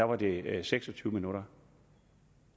var det seks og tyve minutter